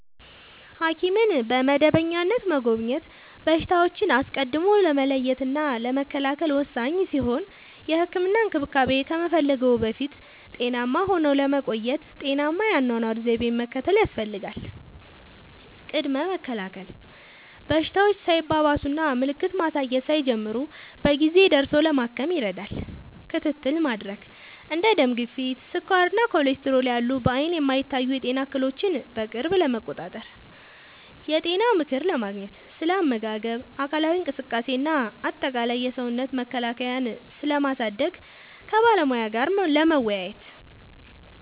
ሐኪምን በመደበኛነት መጎብኘት በሽታዎችን አስቀድሞ ለመለየትና ለመከላከል ወሳኝ ሲሆን፥ የህክምና እንክብካቤ ከመፈለግዎ በፊት ጤናማ ሆነው ለመቆየት ጤናማ የአኗኗር ዘይቤን መከተል ያስፈልጋል። ቅድመ መከላከል፦ በሽታዎች ሳይባባሱና ምልክት ማሳየት ሳይጀምሩ በጊዜ ደርሶ ለማከም ይረዳል። ክትትል ለማድረግ፦ እንደ ደም ግፊት፣ ስኳር እና ኮሌስትሮል ያሉ በዓይን የማይታዩ የጤና እክሎችን በቅርብ ለመቆጣጠር። የጤና ምክር ለማግኘት፦ ስለ አመጋገብ፣ አካላዊ እንቅስቃሴ እና አጠቃላይ የሰውነት መከላከያን ስለማሳደግ ከባለሙያ ጋር ለመወያየት።